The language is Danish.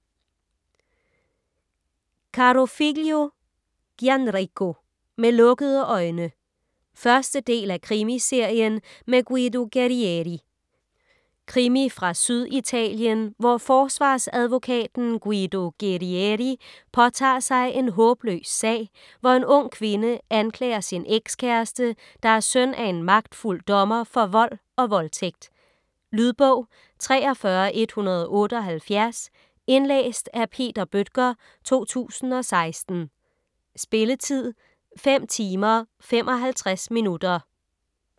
Carofiglio, Gianrico: Med lukkede øjne 1. del af Krimiserien med Guido Guerrieri. Krimi fra Syditalien, hvor forsvarsadvokaten Guido Guerrieri påtager sig en håbløs sag, hvor en ung kvinde anklager sin ekskæreste, der er søn af en magtfuld dommer, for vold og voldtægt. . Lydbog 43178 Indlæst af Peter Bøttger, 2016. Spilletid: 5 timer, 55 minutter.